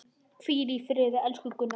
Hvíl í friði, elsku Gunna.